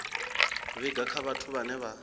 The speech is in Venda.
vhiga kha vhathu vhane vha